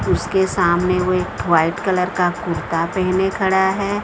उसके सामाने वो एक व्हाइट कलर का कुर्ता पहने खड़ा है।